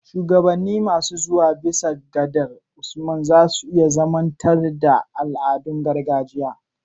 Shugabanni masu zuwa, bisa gadar Usman, za su iya zamanantar da al'adun gargajiya